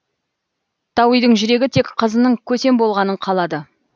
тауидың жүрегі тек қызының көсем болғанын қалады